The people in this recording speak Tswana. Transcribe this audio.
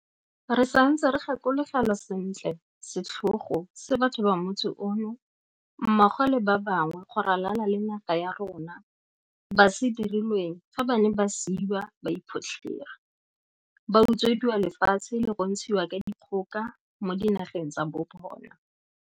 Re santse re gakologelwa sentle setlhogo se batho ba motse ono, mmogo le ba bangwe go ralala le naga ya rona, ba se dirilweng fa ba ne ba siiwa ba iphotlhere, ba utswediwa lefatshe le go ntshiwa ka dikgoka mo dinageng tsa bobona.